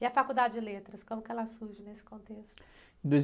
E a faculdade de Letras, como ela surge nesse contexto?